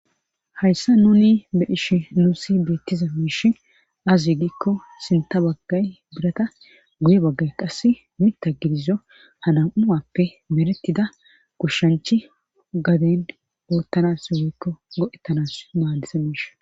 Hayssa nuni be ishi nuusi beettiza miish azi giikko sinta baggay birata guye baggay qass midta gidizo hanam7uappe meretida gushshanchi gaden boottanas woykko go7ettanas maadisa miish